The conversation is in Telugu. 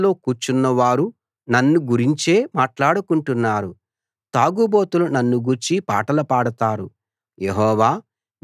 నగర ద్వారాల్లో కూర్చున్నవారు నన్ను గురించే మాట్లాడుకుంటున్నారు తాగుబోతులు నన్ను గూర్చి పాటలు పాడతారు